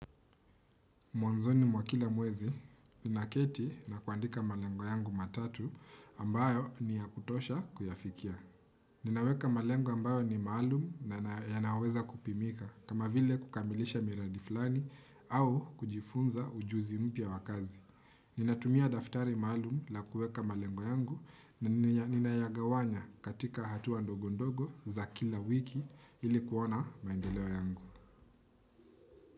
Mwanzoni mwa kila mwezi, naketi na kuandika malengo yangu matatu ambayo niya kutosha kuyafikia. Ninaweka malengo ambayo ni maalum na yanaweza kupimika kama vile kukamilisha miradi fulani au kujifunza ujuzi mpya wa kazi. Ninatumia daftari maalum la kueka malengo yangu na ninayagawanya katika hatuwa ndogondogo za kila wiki ili kuona maendeleo yangu.